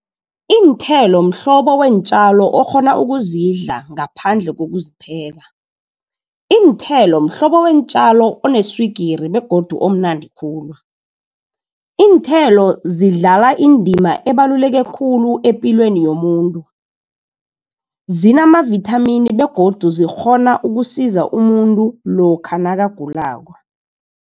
Iinthelo mhlobo weentjalo okghona ukuzidla ngaphandle kokuzipheka. Iinthelo mhlobo weentjalo oneswigiri, begodu omnandi khulu. Iinthelo zidlala indima ebaluleke khulu, epilweni yomuntu. Zinamavithamini begodu zikghona ukusiza umuntu lokha nakagulako.